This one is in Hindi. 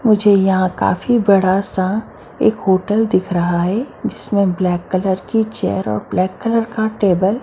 मुझे यहाँ काफी बड़ा सा एक होटल दिख रहा है जिसमे ब्लैक कलर की चेर और ब्लैक कलर का टेबल --